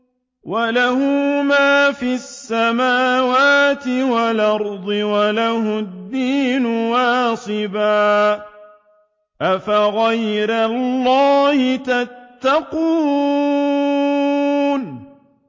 وَلَهُ مَا فِي السَّمَاوَاتِ وَالْأَرْضِ وَلَهُ الدِّينُ وَاصِبًا ۚ أَفَغَيْرَ اللَّهِ تَتَّقُونَ